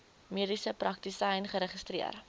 mediese praktisyn geregistreer